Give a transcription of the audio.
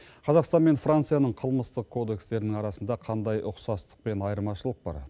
қазақстан мен францияның қылмыстық кодекстерінің арасында қандай ұқсастық пен айырмашылық бар